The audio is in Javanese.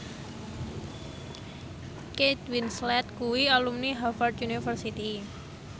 Kate Winslet kuwi alumni Harvard university